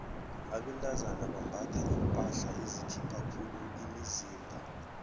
abentazana bambatha iimpahla ezikhipha khulu imizimba